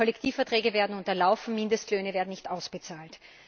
Kollektivverträge werden unterlaufen, Mindestlöhne werden nicht ausbezahlt.